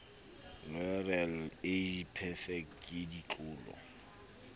loreal age perfect ke ditlolo